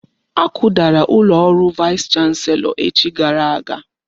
Akudara ụlọ ọrụ vaịs chanselọ echi gara aga.